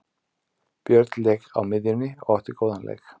Björn lék á miðjunni og átti góðan leik.